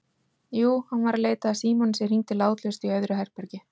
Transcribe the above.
Jú, hann var að leita að símanum sem hringdi látlaust í öðru herbergi.